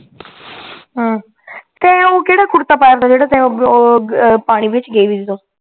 ਹਮ ਤੈ ਓ ਕੇੜਾ ਕੁੜਤਾ ਪਾਇਆ ਹੁੰਦਾ ਜੇੜ੍ਹਾ ਓ ਪਾਣੀ ਵਿੱਚ ਗਈ ਸੀ ਤੂੰ